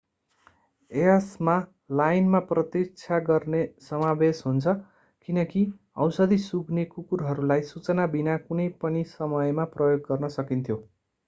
यसमा लाइनमा प्रतीक्षा गर्ने समावेश हुन्छ किनकि औषधि-सुँघ्ने कुकुरहरूलाई सूचना बिना कुनै पनि समयमा प्रयोग गर्न सकिन्थ्यो